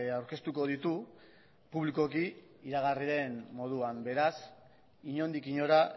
aurkeztuko ditu publikoki iragarri den moduan beraz inondik inora